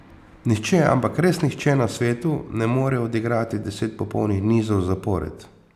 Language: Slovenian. Nihče, ampak res nihče na svetu ne more odigrati deset popolnih nizov zapored.